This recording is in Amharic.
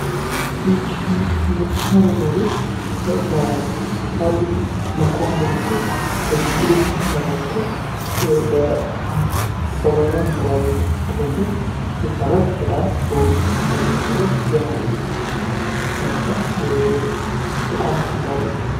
ይህች ምታምር መኖሪያ ቤት ከፓዲስ መልኳውን በመጡል በችቡዶች የተሠራ ሲትሆን ለ1 አባውራ መኖሪያ ቤት ተሆን ዘንድ የተሠራጅ በጣም በውች ስታንዳርድ የተሠራች ዘመናዊ ስለሆነች በጣም ተምራለች፡፡